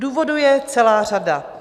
Důvodů je celá řada.